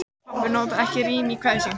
Pabbi notar ekki rím í kvæðin sín.